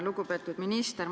Lugupeetud minister!